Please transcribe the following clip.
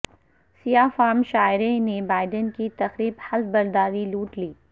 سیاہ فام شاعرہ نے بائیڈن کی تقریب حلف برداری لوٹ لی